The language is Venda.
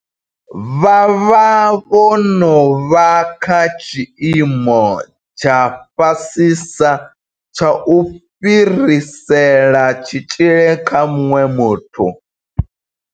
Vha vha vho no vha kha tshiimo tsha fhasisa tsha u fhirisela tshitzhili kha muṅwe muthu.